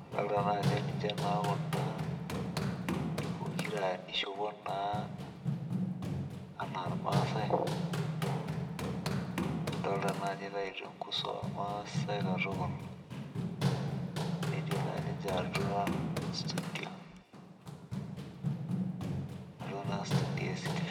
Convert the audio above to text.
adolta naa ajo ninche taa Kuna pokira nishopoi naa anaa irmaasae. adolta naa ajo itaitua enkuso oormaasae katukul. netii naa no ninche atau studio.